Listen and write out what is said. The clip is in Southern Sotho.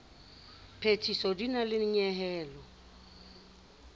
phethiso di na le nyehelo